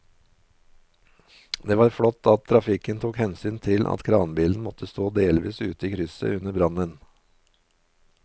Det var flott at trafikken tok hensyn til at kranbilen måtte stå delvis ute i krysset under brannen.